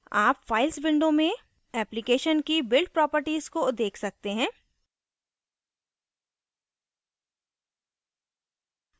आप files window में application की build properties को देख सकते हैं